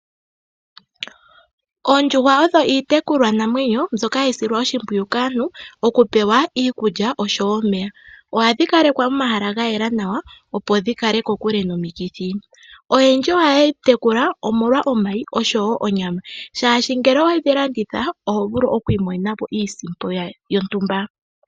Oondjuhwa odho iitekulwanamwenyo mbyoka hayi silwa oshimpwiyu kaantu okupewa iikulya oshowo omeya. Ohadhi kalekwa momahala ga yela nawa opo dhi kale kokule nomikithi. Oyendji ohayedhi tekula omolwa omayi oshowo onyama oshoka ngele owedhi landitha oho vulu okwiimonena mo iisimpo yontumba.